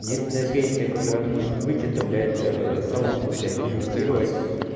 единственная пенсия которая может быть это блядь самому блядь инвестировать